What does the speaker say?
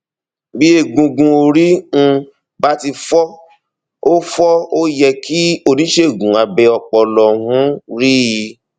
bí egungun orí um bá ti fọ ó fọ ó yẹ kí oníṣègùn abẹ ọpọlọ um rí i